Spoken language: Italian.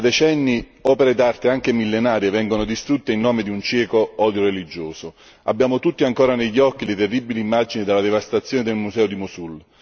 Da decenni opere d'arte anche millenarie vengono distrutte in nome di un cieco odio religioso. Abbiamo tutti ancora negli occhi le terribili immagini della devastazione del museo di Mosul.